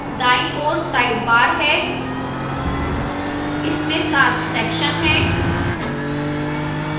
दाईं ओर sidebar है इसमें 7 सेक्शन हैं